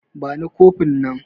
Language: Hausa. Bani kofin nan